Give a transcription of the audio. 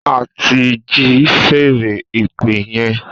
A ti ji fèèrè ìpè yẹn